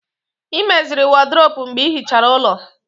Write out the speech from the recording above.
Ị meziri wọdrobu mgbe ịhichara ulọ